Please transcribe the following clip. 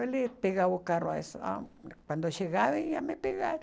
Eles pegavam o carro, quando chegavam, iam me pegar.